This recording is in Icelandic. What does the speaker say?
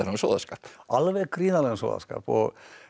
sóðaskap alveg gríðarlegum sóðaskap og